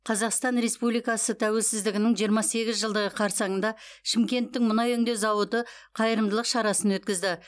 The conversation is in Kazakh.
қазақстан республикасы тәуелсіздігінің жиырма сегіз жылдығы қарсаңында шымкенттің мұнай өңдеу зауыты қайырымдылық шарасын өткізді